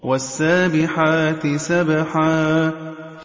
وَالسَّابِحَاتِ سَبْحًا